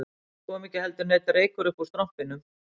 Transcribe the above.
Það kom ekki heldur neinn reykur uppúr strompinum